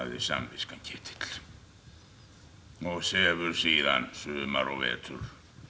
samviskan Ketill og sefur síðan sumar og vetur